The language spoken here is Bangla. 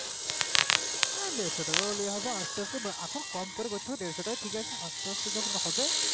হ্যাঁ দেড়শো টাকাও নেওয়া হবে আস্তে আস্তে এখন কম করে করতে হবে সেটাই ঠিক আছে আস্তে আস্তে যখন হবে